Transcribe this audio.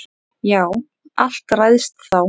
Já, allt ræðst þá.